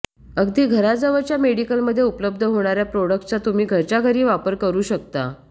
अगदी घराजवळच्या मेडिकलमध्ये उपलब्ध होणाऱ्या प्रॉडक्टचा तुम्ही घरच्या घरी वापर करू शकता